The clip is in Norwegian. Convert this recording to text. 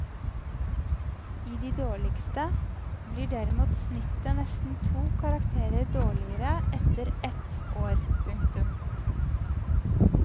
I de dårligste blir derimot snittet nesten to karakterer dårligere etter ett år. punktum